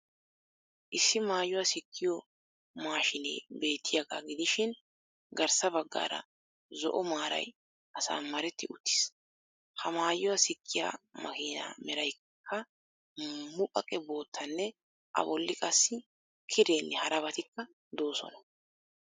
Issi maayuwa sikkiyo maashinee beettiyaagaa gidishiin garssa bagaara zo'o maaray asamaretti uttiis. Ha maayuwa sikkiya makiinaa meraykka muqaqe bottanne a bolli qassi kireenne harabattikka doosona.